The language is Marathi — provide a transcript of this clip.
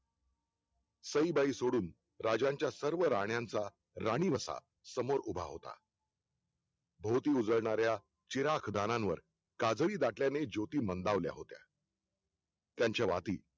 सईबाई सोडून राजांच्या सर्व राण्यांचा राणी वसा समोर उभा होता भोदू उजळणाऱ्या चिराग धारांवर काजळी दाटल्याने ज्योती मंदावल्या होत्या त्यांच्या वाटी